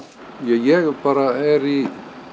ég er bara er í